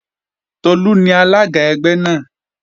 Tolú ni alága ẹgbẹ́ náà